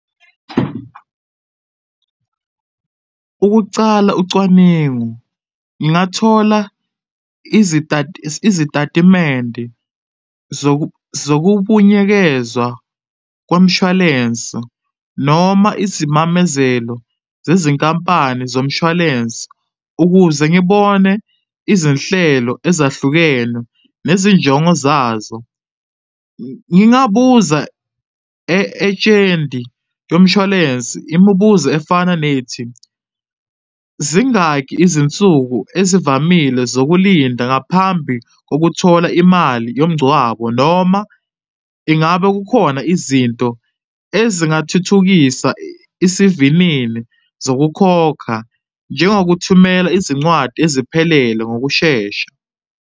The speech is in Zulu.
Chabo, ukucala ucwaningo ngingathola izitatimende zokubunyekezwa komshwalense noma izimamezelo zezinkampani zomshwalensi ukuze ngibone izinhlelo ezahlukene nezinjongo zazo, ngingabuza e-ejenti yomshwalensi imibuzo efana nethi, zingaki izinsuku ezivamile zokulinda ngaphambi kokuthola imali yomngcwabo, noma ingabe kukhona izinto ezingathuthukisa isivinini zokukhokha njengokuthumela izincwadi eziphelele ngokushesha.